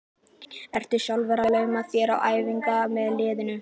Ertu sjálfur að lauma þér á æfingar með liðinu?